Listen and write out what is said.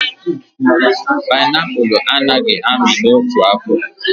Panaipụlụ a naghị amị n'otu afọ